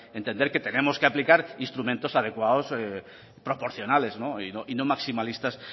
entender que tenemos que aplicar instrumentos adecuados proporcionales y no maximalistas